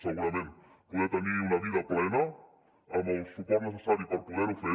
segurament poder tenir una vida plena amb el suport necessari per poder ho fer